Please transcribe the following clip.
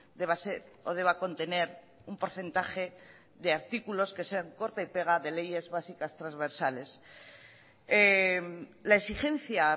deba ser o deba contener un porcentaje de artículos que sean corta y pega de leyes básicas transversales la exigencia